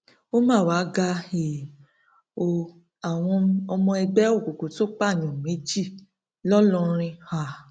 ó mà wàá ga um ọ àwọn ọmọ ẹgbẹ òkùnkùn tún pààyàn méjì ńlọrọrin um